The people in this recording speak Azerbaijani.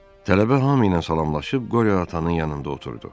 Tələbə hamı ilə salamlaşıb Qoryo atanın yanında oturdu.